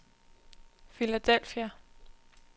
Philadelphia